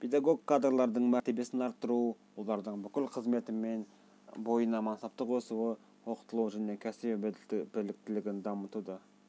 педагог кадрлардың мәртебесін арттыру олардың бүкіл қызметі бойына мансаптық өсуі оқытылуы және кәсіби біліктілігін дамытуды